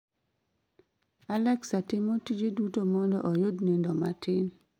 alexa timo tije duto mondo ayud nindo matin